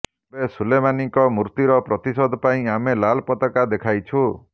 ଏବେ ସୁଲେମାନୀଙ୍କ ମୃତ୍ୟୁର ପ୍ରତିଶୋଧ ପାଇଁ ଆମେ ଲାଲ ପତାକା ଦେଖାଇଛୁ